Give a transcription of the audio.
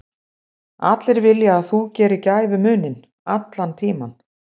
Allir vilja að þú gerir gæfumuninn, allan tímann.